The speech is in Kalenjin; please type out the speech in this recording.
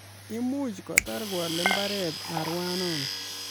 Imuch kotar koale mbaret arawno